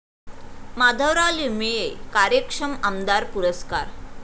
माधवराव लिमये कार्यक्षम आमदार पुरस्कार